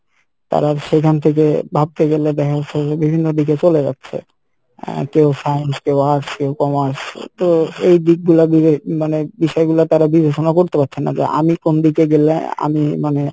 তারা সেইখান থেকে ভাবতে গেলে দেখা যাচ্ছে যে বিভিন্ন দিকে চলে যাচ্ছে আহ কেউ science কেউ arts কেও commerce তো এই দিক গুলা মানে বিষয়গুলা তারা বিবেচনা করতে পারছে না যে আমি কোন দিকে গেলে আহ আমি মানে